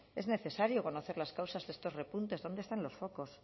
es necesario conocer las causas de estos repuntes dónde están los focos